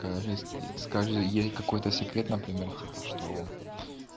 кажись скажи ей какой-то секрет например типа что он